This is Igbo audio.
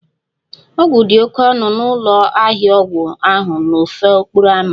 Ọgwụ dị oke ọnụ n'ụlọ ahịa ọgwụ ahụ n'ofe okporo ámá